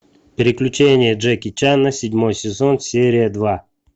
приключения джеки чана седьмой сезон серия два